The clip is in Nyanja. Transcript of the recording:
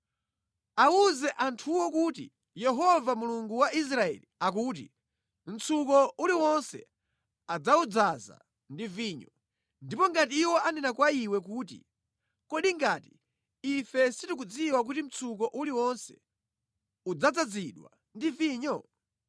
“Awuze anthuwo kuti, ‘Yehova Mulungu wa Israeli akuti: Mtsuko uliwonse adzawudzaza ndi vinyo.’ Ndipo ngati iwo anena kwa iwe kuti, ‘Kodi ngati ife sitikudziwa kuti mtsuko uliwonse udzadzazidwa ndi vinyo?’